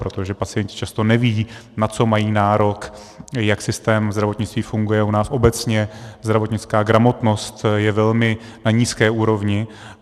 Protože pacienti často nevědí, na co mají nárok, jak systém zdravotnictví funguje, u nás obecně zdravotnická gramotnost je velmi na nízké úrovni.